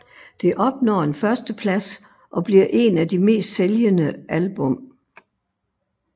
Det opnår en førsteplads og bliver en af de mest sælgende album